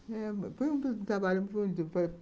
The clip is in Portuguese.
Eh... Foi um trabalho muito.